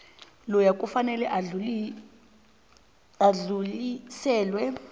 loyo kufanele udluliselwe